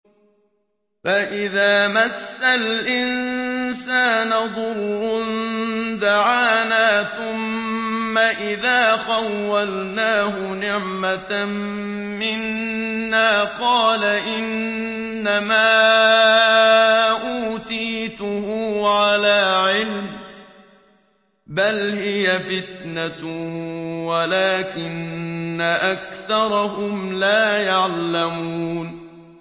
فَإِذَا مَسَّ الْإِنسَانَ ضُرٌّ دَعَانَا ثُمَّ إِذَا خَوَّلْنَاهُ نِعْمَةً مِّنَّا قَالَ إِنَّمَا أُوتِيتُهُ عَلَىٰ عِلْمٍ ۚ بَلْ هِيَ فِتْنَةٌ وَلَٰكِنَّ أَكْثَرَهُمْ لَا يَعْلَمُونَ